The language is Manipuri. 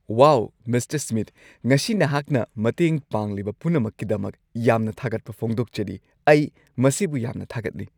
ꯋꯥꯎ, ꯃꯤꯁꯇꯔ ꯁ꯭ꯃꯤꯊ, ꯉꯁꯤ ꯅꯍꯥꯛꯅ ꯃꯇꯦꯡ ꯄꯥꯡꯂꯤꯕ ꯄꯨꯝꯅꯃꯛꯀꯤꯗꯃꯛ ꯌꯥꯝꯅ ꯊꯥꯒꯠꯄ ꯐꯣꯡꯗꯣꯛꯆꯔꯤ꯫ ꯑꯩ ꯃꯁꯤꯕꯨ ꯌꯥꯝꯅ ꯊꯥꯒꯠꯂꯤ!